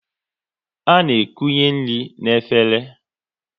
A na ekunye nri n'efere